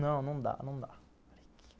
Não, não dá, não dá.